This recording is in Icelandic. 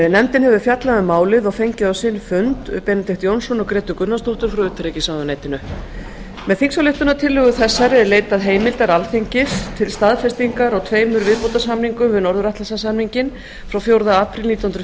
nefndin hefur fjallað um málið og fengið á sinn fund benedikt jónsson og grétu gunnarsdóttur frá utanríkisráðuneytinu með þingsályktunartillögu þessari er leitað heimildar alþingis til staðfestingar á tveimur viðbótarsamningum við norður atlantshafssamninginn frá fjórða apríl nítján hundruð